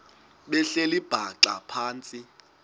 behleli bhaxa phantsi